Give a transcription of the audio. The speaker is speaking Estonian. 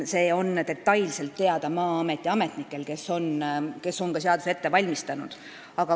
See on detailselt teada Maa-ameti ametnikel, kes on ka seaduseelnõu ette valmistanud.